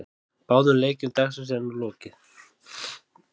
Báðum leikjum dagsins er nú lokið.